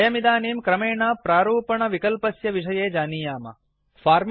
वयमिदानीं क्रमेण प्रारूपणफार्मेटिंग्विकल्पस्य विषये जानीमः